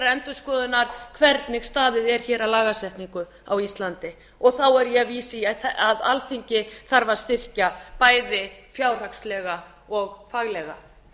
endurskoðunar hvernig staðið er hér að lagasetningu á íslandi þá er ég að vísa í að alþingi þarf að styrkja bæði fjárhagslega og faglega